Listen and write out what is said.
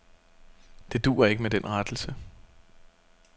Det duer ikke med den rettelse.